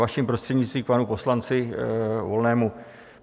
Vaším prostřednictvím, k panu poslanci Volnému.